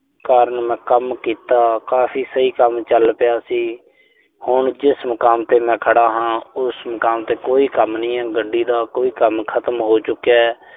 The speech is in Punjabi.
ਕਾਰਨ ਮੈਂ ਕੰਮ ਕੀਤਾ। ਕਾਫ਼ੀ ਸਹੀ ਕੰਮ ਚੱਲ ਪਿਆ ਸੀ। ਹੁਣ ਜਿਸ ਮੁਕਾਮ ਤੇ ਮੈਂ ਖੜ੍ਹਾ ਹਾਂ, ਉਸ ਮੁਕਾਮ ਤੇ ਕੋਈ ਕੰਮ ਨਈਂ ਐ। ਗੱਡੀ ਦਾ ਕੋਈ ਕੰਮ ਖਤਮ ਹੋ ਚੁੱਕਿਐ।